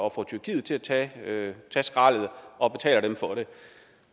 at få tyrkiet til at tage skraldet og betaler dem for det